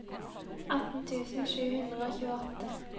atten tusen sju hundre og tjueåtte